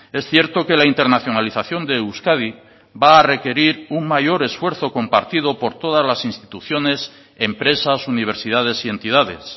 es cierto que la internacionalización de euskadi va a requerir un mayor esfuerzo compartido por todas las instituciones empresas universidades y entidades